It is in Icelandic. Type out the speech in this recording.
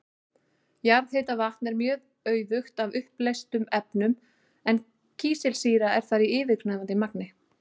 Jarðhitavatn er mjög auðugt af uppleystum efnum en kísilsýra er þar í yfirgnæfandi magni.